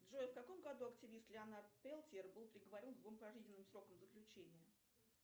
джой в каком году активист леонард пелтер был приговорен к двум пожизненным срокам заключения